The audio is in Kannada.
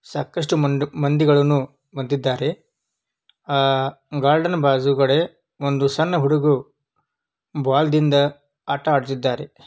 ಸಾಕಷ್ಟು ಮಂಡು-ಮಂದಿಗಳನ್ನು ಮದ್ದಿದ್ದಾರೆ. ಆ ಗಾರ್ಡನ್ ಬಾಜುಗಡೆ ಒಂದು ಸಣ್ಣ ಹುಡ್ಗುರು ಬಾಲದಿಂದ ಆಟ ಆಡ್ಸದಿದ್ದಾರೆ.